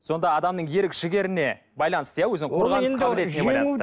сонда адамның ерік жігеріне байланысты иә